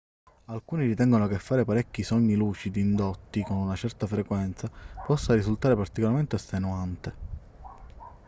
alcuni ritengono che fare parecchi sogni lucidi indotti con una certa frequenza possa risultare particolarmente estenuante